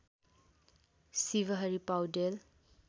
Shivhari Paudel